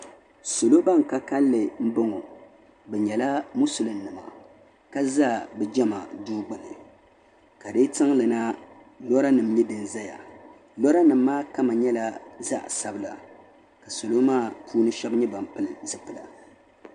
Salo ban ka kalinli n bɔŋo bi nyɛla musilim nima ka za bi jama duu gbuni ka di tiŋli na lɔra nim nyɛ din zaya lɔra nim maa kama nyɛla zaɣa sabila ka salo maa puuni shɛba nyɛ ban pili zipila.